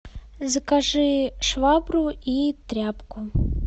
закажи швабру и тряпку